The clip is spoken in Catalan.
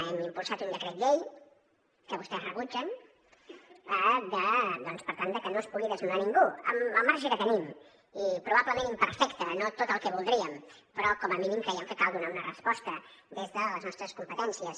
hem impulsat un decret llei que vostès rebutgen per tal de que no es pugui desnonar ningú amb el marge que tenim i probablement imperfecte no tot el que voldríem però com a mínim creiem que cal donar una resposta des de les nostres competències